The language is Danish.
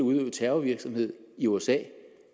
terrorvirksomhed i usa